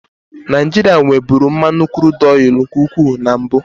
Naijiria nweburu mmanụ kurudu nke ukwuu na mbụ.